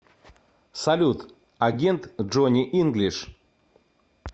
салют агент джонни инглиш